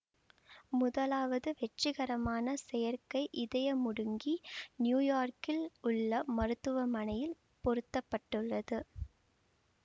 முதலாவது வெற்றிகரமான செயற்கை இதயமுடுங்கி நியூயோர்க்கில் உள்ள மருத்துவமனையில் பொருத்தப்பட்டது